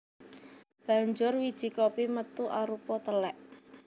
Banjur wiji kopi metu arupa telèk